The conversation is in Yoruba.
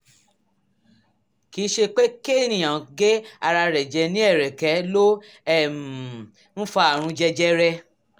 kì í ṣe pé kéèyàn gé ara rẹ̀ jẹ ní ẹ̀rẹ̀kẹ́ ló um ń fa àrùn jẹjẹrẹ